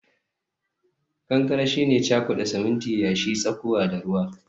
kankare shine cakuda siminti, yashi, tsakuwa da ruwa